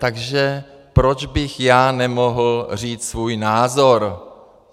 Takže proč bych já nemohl říct svůj názor?